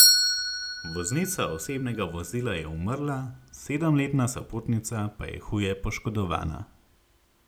Voznica osebnega vozila je umrla, sedemletna sopotnica pa je huje poškodovana.